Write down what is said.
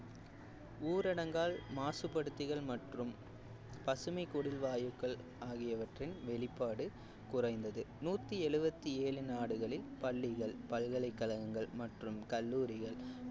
ஊரடங்கால் மாசுபடுத்துதல் மற்றும் பசுமைக் குடில் வாயுக்கள் ஆகியவற்றின் வெளிப்பாடு குறைந்தது நூத்தி எழுவத்தி ஏழு நாடுகளில் பள்ளிகள் பல்கலைக்கழகங்கள் மற்றும் கல்லூரிகள்